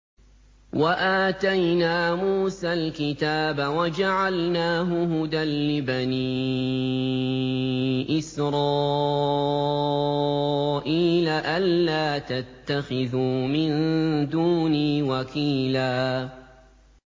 وَآتَيْنَا مُوسَى الْكِتَابَ وَجَعَلْنَاهُ هُدًى لِّبَنِي إِسْرَائِيلَ أَلَّا تَتَّخِذُوا مِن دُونِي وَكِيلًا